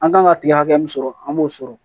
An kan ka kile hakɛ min sɔrɔ an b'o sɔrɔ